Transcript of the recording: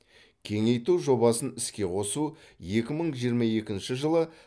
кеңейту жобасын іске қосу екі мың жиырма екінші жылы